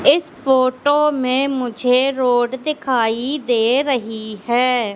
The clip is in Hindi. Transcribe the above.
इस फोटो में मुझे रोड दिखाई दे रही है।